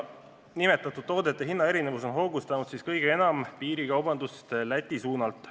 Nimetatud toodete erinevad hinnad on hoogustanud kõige enam piirikaubandust Läti suunal.